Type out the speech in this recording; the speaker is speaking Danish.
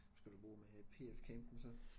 Skal du bo med P F campen så